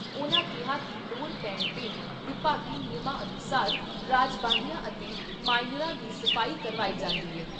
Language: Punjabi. ਉਨ੍ਹਾਂ ਕਿਹਾ ਕਿ ਲੋੜ ਪੈਣ ਤੇ ਵਿਭਾਗੀ ਨਿਯਮਾਂ ਅਨੁਸਾਰ ਰਜਬਾਹਿਆਂ ਅਤੇ ਮਾਇਨਰਾਂ ਦੀ ਸਫ਼ਾਈ ਕਰਵਾਈ ਜਾਂਦੀ ਐ।